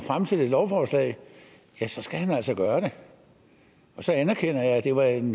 fremsætte et lovforslag skal han altså gøre det så anerkender jeg at det var en